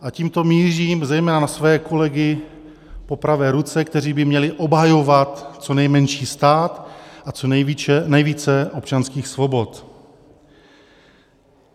A tímto mířím zejména na své kolegy po pravé ruce, kteří by měli obhajovat co nejmenší stát a co nejvíce občanských svobod.